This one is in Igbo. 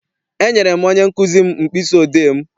E nyere m onye nkụzi m mkpịsị odee m.